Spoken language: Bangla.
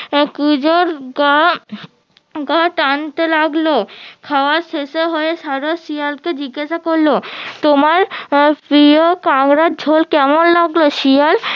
আহ কুঁজোর গা গা টানতে লাগলো খাওয়ার শেষে হয়ে সারস শিয়ালকে জিজ্ঞাসা করলো তোমার আহ প্রিয় কাংড়ার ঝোল কেমন লাগলো শিয়াল